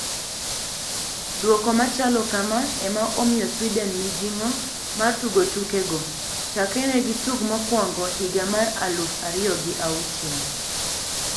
Duoko machalo kama ema omiyo Sweden mijing`o mar tugo tuke go chakre ne gitug mokwongo higa mar aluf ariyo gi auchiel.